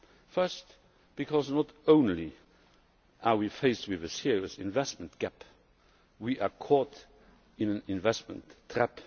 First, because not only are we faced with a serious investment gap but we are caught in an investment trap.